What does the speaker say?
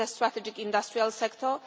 It is a strategic industrial sector.